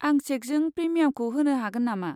आं चेकजों प्रिमियामखौ होनो हागोन नामा?